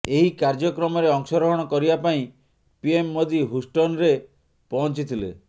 ଏହି କାର୍ଯ୍ୟକ୍ରମରେ ଅଂଶଗ୍ରହଣ କରିବା ପାଇଁ ପିଏମ ମୋଦି ହୁଷ୍ଟନରେ ପହଂଚିଥିଲେ